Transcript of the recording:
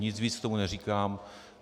Nic víc k tomu neříkám.